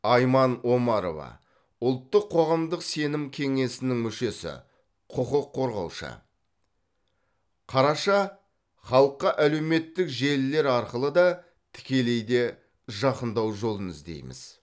айман омарова ұлттық қоғамдық сенім кеңесінің мүшесі құқық қорғаушы қараша халыққа әлеуметтік желілер арқылы да тікелей де жақындау жолын іздейміз